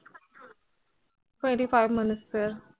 Twenty five